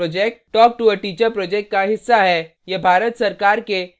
spoken tutorial project talktoa teacher project का हिस्सा है